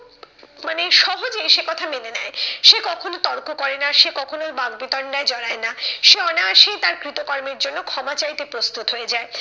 মানে সহজে সে কথা মেনে নেয়। সে কখনো তর্ক করে না, সে কখনোই বাক বিতণ্ডায় জড়ায় না, সে অনায়াসেই তার কৃতকর্মের জন্য ক্ষমা চাইতে প্রস্তুত হয়ে যায়।